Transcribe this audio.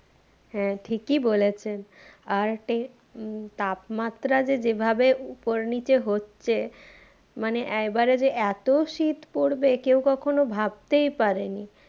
হ্যাঁ ঠিকই বলেছেন আর টে উম তাপমাত্রা যে যেভাবে উপর নিচে হচ্ছে মানে এইবারে যে এত শীত পড়বে কেও কখনো ভাবতেই পারেনি।